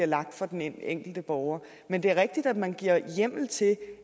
lagt for den enkelte borger men det er rigtigt at man giver hjemmel til